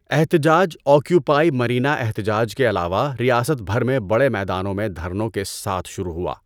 احتجاج آکیوپائے مرینا احتجاج کے علاوہ ریاست بھر میں بڑے میدانوں میں دھرنوں کے ساتھ شروع ہوا۔